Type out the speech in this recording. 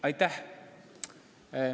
Aitäh!